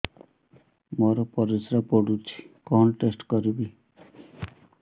ମୋର ପରିସ୍ରା ପୋଡୁଛି କଣ ଟେଷ୍ଟ କରିବି